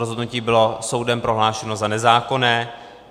Rozhodnutí bylo soudem prohlášeno za nezákonné.